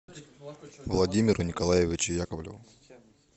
владимиру николаевичу яковлеву